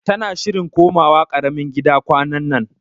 Tana shirin komawa karamin gida kwanannan